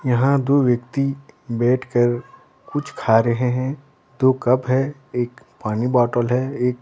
यहाँ दो व्यक्ति बैठ कर कुछ खा रहे हैं दो कप है एक पानी बोटल है एक--